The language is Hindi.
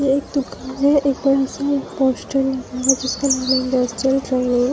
ये एक दुकान है एक बड़ा सा पोस्टल लगा हुआ है जिसका नाम है इंडस्ट्रियल ट्रेनिंग --